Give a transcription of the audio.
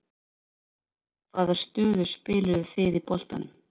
Hvaða stöðu spiluðuð þið í boltanum?